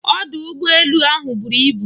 Ọdụ ụgbọ elu ahụ buru ibu.